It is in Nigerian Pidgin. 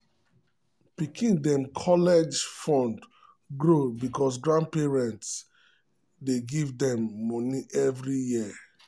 pikin dem college um fund grow because grandparents um dey give them moni every year.